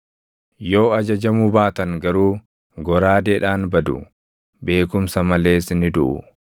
Yoo ajajamuu baatan garuu, goraadeedhaan badu; beekumsa malees ni duʼu.